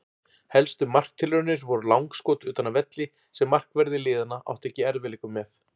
Helstu marktilraunir voru langskot utan af velli sem markverðir liðanna áttu ekki í erfiðleikum með.